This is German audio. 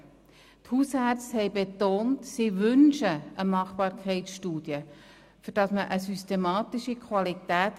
Die Hausärzte haben betont, dass sie eine Machbarkeitsstudie wünschen, damit man die Qualität systematisch sichern kann.